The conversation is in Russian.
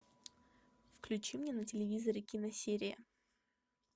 включи мне на телевизоре киносерия